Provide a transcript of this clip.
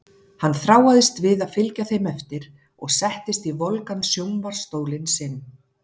Hann þráaðist við að fylgja þeim eftir og settist í volgan sjónvarps- stólinn sinn.